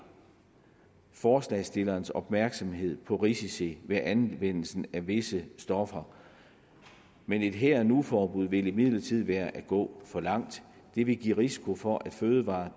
forslagsstillernes opmærksomhed på risici ved anvendelse af visse stoffer men et her og nu forbud vil imidlertid være at gå for langt det vil give risiko for at fødevarer